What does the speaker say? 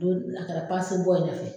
Don na ta bɔ tɛ na kɛ.